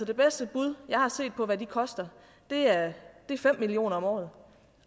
det bedste bud jeg har set på hvad de koster er fem million kroner om året